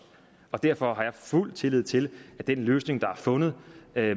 og derfor har jeg fuld tillid til at den løsning der er fundet